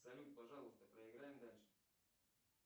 салют пожалуйста проиграем дальше